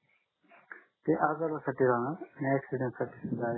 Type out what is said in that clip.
ते आजार साठी राहणार